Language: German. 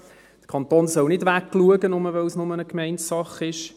Der Kanton soll nicht wegschauen, nur, weil es bloss eine Gemeindesache ist.